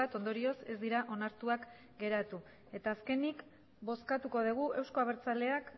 ondorioz ez dira onartuak geratu eta azkenik bozkatuko dugu euzko abertzaleak